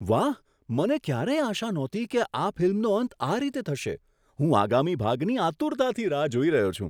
વાહ, મને ક્યારેય આશા નહોતી કે આ ફિલ્મનો અંત આ રીતે થશે. હું આગામી ભાગની આતુરતાથી રાહ જોઈ રહ્યો છું.